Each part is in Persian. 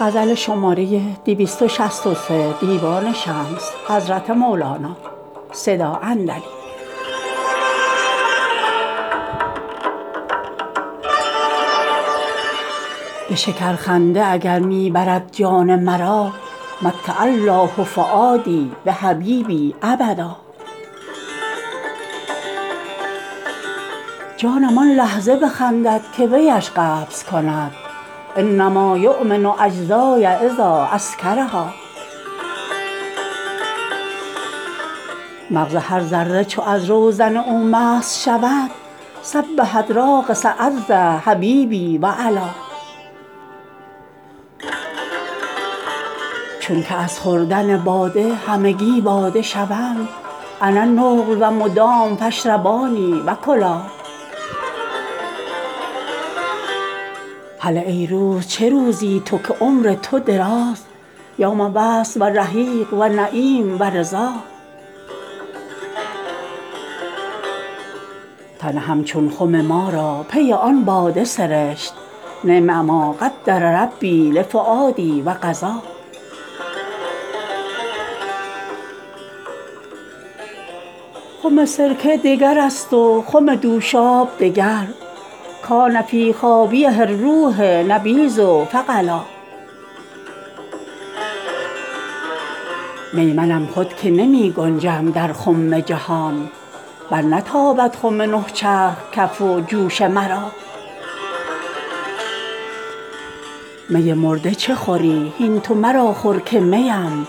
به شکرخنده اگر می ببرد جان مرا متع الله فوادی بحبیبی ابدا جانم آن لحظه بخندد که وی اش قبض کند انما یوم اجزای اذا اسکرها مغز هر ذره چو از روزن او مست شود سبحت راقصه عز حبیبی و علا چونک از خوردن باده همگی باده شوم انا نقل و مدام فاشربانی و کلا هله ای روز چه روزی تو که عمر تو دراز یوم وصل و رحیق و نعیم و رضا تن همچون خم ما را پی آن باده سرشت نعم ما قدر ربی لفوادی و قضا خم سرکه دگرست و خم دوشاب دگر کان فی خابیه الروح نبیذ فغلی چون بخسپد خم باده پی آن می جوشد انما القهوه تغلی لشرور و دما می منم خود که نمی گنجم در خم جهان برنتابد خم نه چرخ کف و جوش مرا می مرده چه خوری هین تو مرا خور که می ام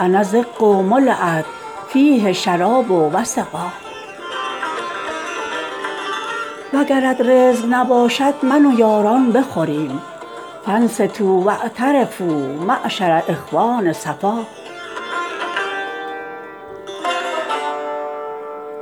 انا زق ملیت فیه شراب و سقا وگرت رزق نباشد من و یاران بخوریم فانصتوا و اعترفوا معشرا اخوان صفا